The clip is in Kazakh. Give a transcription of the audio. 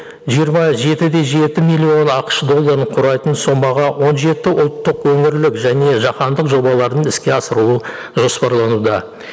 жиырма жеті де жеті миллион ақш долларын құрайтын сомаға он жеті ұлттық өңірлік және жаһандық жобалардың іске асыру жоспарлануда